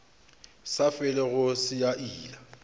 sa felego se a ila